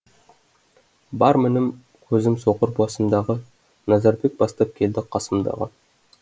бар мінім көзім соқыр басымдағы назарбек бастап келді қасымдағы